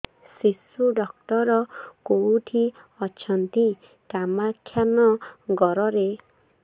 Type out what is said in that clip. ଶିଶୁ ଡକ୍ଟର କୋଉଠି ଅଛନ୍ତି କାମାକ୍ଷାନଗରରେ